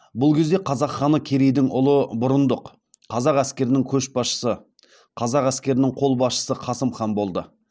бұл кезде қазақ ханы керейдің ұлы бұрындық қазақ әскерінің қолбасшысы қасым хан болды